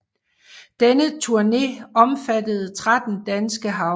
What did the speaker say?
Denne turne omfattede 13 danske havne